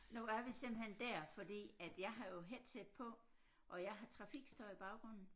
Nu er vi simpelthen der fordi at jeg har jo headset på og jeg har trafikstøj i baggrunden